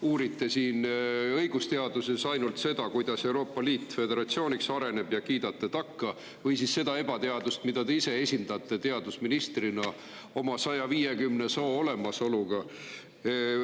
Uurite õigusteaduses ainult seda, kuidas Euroopa Liit föderatsiooniks areneb, ja kiidate takka, või siis seda ebateadust, mida te ise esindate teadusministrina 150 soo olemasolu.